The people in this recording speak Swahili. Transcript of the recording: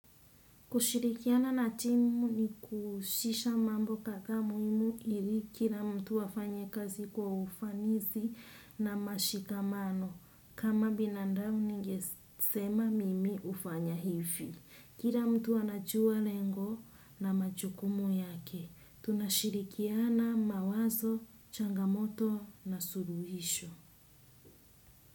Kushirikiana na timu ni kuhushisha mambo kadhaa muhimu ili kila mtu afanye kazi kwa ufanisi na mashikamano. Kama binadamu ningesema mimi hufanya hivi. Kila mtu anajua lengo na majukumu yake. Tunashirikiana mawazo, changamoto na suluhisho.